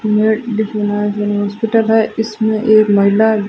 ये diploma hospital है इसमें एक महिला--